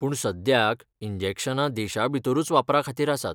पूण सद्याक इंजेक्शनां देशांभितरूच वापरा खातीर आसात.